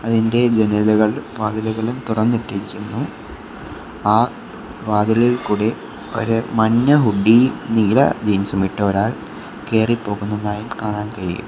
അതിൻ്റെ ജനലുകൾ വാതിലുകളും തുറന്നിട്ടിരുന്നു ആ വാതിലിൽ കൂടെ ഒരു മഞ്ഞ ഹൂഡി നീല ജീൻസുമിട്ട ഒരാൾ കേറിപോകുന്നതായും കാണാൻ കഴിയും.